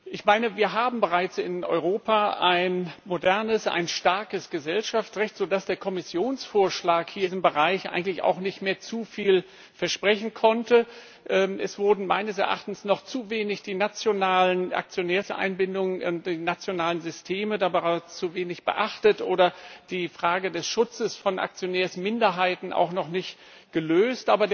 Ich meine, wir haben bereits in Europa ein modernes, ein starkes Gesellschaftsrecht, sodass der Kommissionsvorschlag hier in diesem Bereich eigentlich auch nicht mehr zu viel versprechen konnte. Meines Erachtens wurden die nationalen Aktionärseinbindungen in den nationalen Systemen dabei noch zu wenig beachtet, oder die Frage des Schutzes von Aktionärsminderheiten wurde auch noch nicht gelöst.